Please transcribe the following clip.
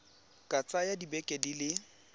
ka tsaya dibeke di le